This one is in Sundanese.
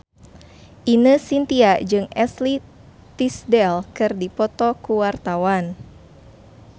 Ine Shintya jeung Ashley Tisdale keur dipoto ku wartawan